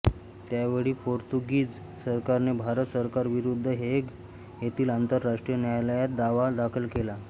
त्या वेळी पोर्तुगीज सरकारने भारत सरकार विरुद्ध हेग येथील आंतरराष्ट्रीय न्यायालयात दावा दाखल केला